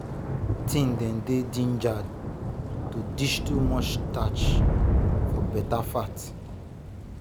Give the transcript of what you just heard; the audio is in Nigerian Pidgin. teen dem dey gingered to ditch too much starch for beta fat.